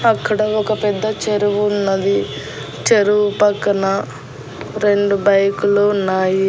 అక్కడ ఒక పెద్ద చెరువు ఉన్నది చెరువు పక్కన రెండు బైకు లు ఉన్నాయి.